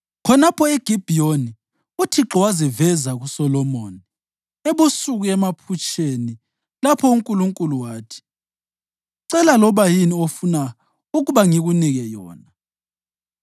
Khonapho eGibhiyoni uThixo waziveza kuSolomoni ebusuku emaphutsheni lapho uNkulunkulu athi, “Cela loba yini ofuna ukuba ngikunike yona.”